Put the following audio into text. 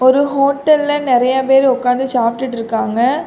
ஒரு ஹோட்டல்ல நறைய பேர் உட்கார்ந்து சாப்பிட்டுட்டு இருக்காங்க.